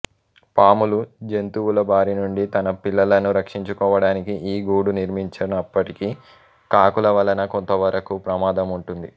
పాములు జంతువుల బారినుండి తన పిల్లలను రక్షించుకోవడానికి ఈ గూడు నిర్మించినప్పటికీ కాకుల వలన కొంతవరకూ ప్రమాదం ఉంటుంది